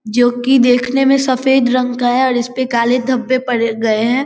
जो की देखने में सफेद रंग का है और इस पे काले धब्बे पड़ गए हैं।